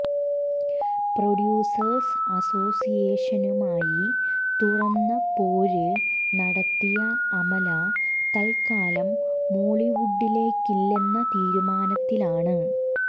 producers അസോസിയേഷനുമായി തുറന്ന പോര് നടത്തിയ അമല തത്കാലം മോളിവുഡിലേയ്ക്കില്ലെന്ന തീരുമാനത്തിലാണ്